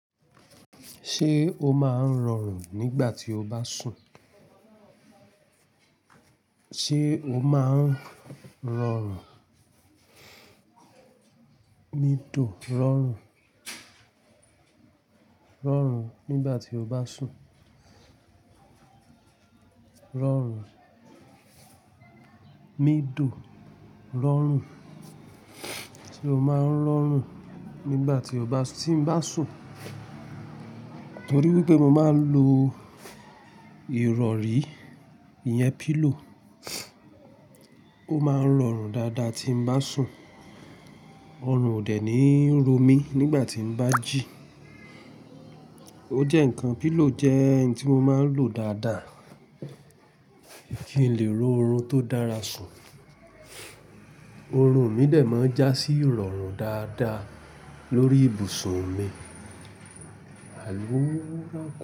Ṣé o máa ń rọrùn nígbà tí o bá sùn? Sé o máa ń rọrùn? Mi tò rọrùn, rọrùn nígbà tí o bá sùn. Rọrùn, mi dùn, rọrùn. Sé o máa ń rọrùn nígbà tí o bá, tí n bá sùn? Nítorí wípé mo máa ń lo ìrọ̀rí, ìyẹn pillow. Ó máa ń rọrùn dáadáa tí n bá sùn. Ọrùn ò dè ní ń ro mí nígbà tí n bá jí. Ó jẹ́ ǹkan, pillow jẹ́ ǹkan tí mo máa ń lò dáadáa kí n lè ro orun tó dára sùn. Orun ò ní dẹ̀ mọ́ já sí ìrọ̀rùn dáadáa lórí ibùsùn mi. Àlùrùrù.